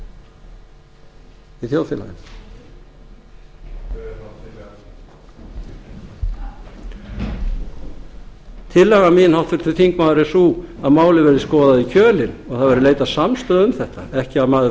í þjóðfélaginu tillaga mín háttvirtur þingmaður er sú að málið verði skoðað ofan í kjölinn og það verði leitað samstöðu um þetta ekki að maður